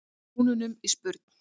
brúnunum í spurn.